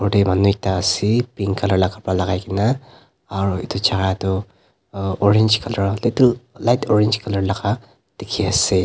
ta manu ekta ase pink colour la kabra lakai kena aro etu jagatu uh orange colour little light orange colour laka dekhe ase.